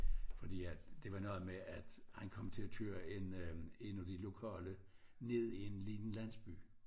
Fordi at det var noget med at han kom til at køre én af de lokale ned i en lille landsby